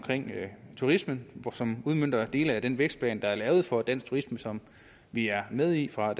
turismen som udmønter dele af den vækstplan der er lavet for dansk turisme som vi er med i fra